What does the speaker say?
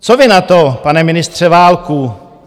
Co vy na to, pane ministře, válku?